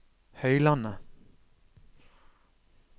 Høylandet